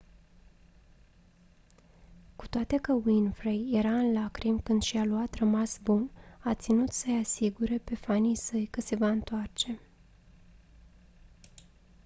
cu toate că winfrey era în lacrimi când și-a luat rămas bun a ținut să-i asigure pe fanii săi că se va întoarce